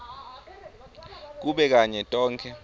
kube kanye tonkhe